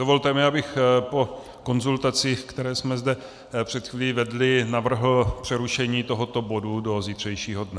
Dovolte mi, abych po konzultacích, které jsme zde před chvílí vedli, navrhl přerušení tohoto bodu do zítřejšího dne.